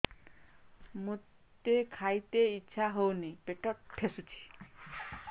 ମୋତେ ଖାଇତେ ଇଚ୍ଛା ହଉନି ପେଟ ଠେସୁଛି